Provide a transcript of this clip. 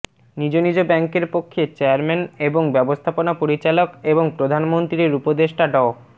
নিজ নিজ ব্যাংকের পক্ষে চেয়ারম্যান এবং ব্যাবস্থাপনা পরিচালক এবং প্রধানমন্ত্রীর উপদেষ্টা ড